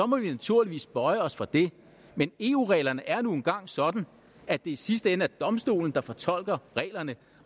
må vi naturligvis bøje os for det men eu reglerne er nu engang sådan at det i sidste ende er domstolen der fortolker reglerne